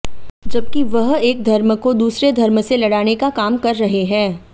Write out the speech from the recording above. जबकि वह एक धर्म को दूसरे धर्म से लड़ाने का काम कर रहे हैं